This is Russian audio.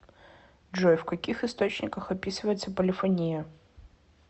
джой в каких источниках описывается полифония